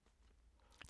TV 2